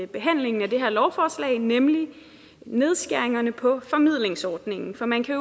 behandlingen af det her lovforslag nemlig nedskæringerne på formidlingsordningen for man kan